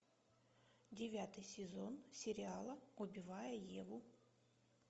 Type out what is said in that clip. девятый сезон сериала убивая еву